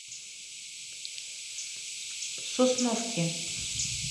сосновке